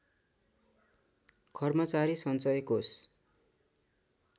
कर्मचारी सञ्चय कोष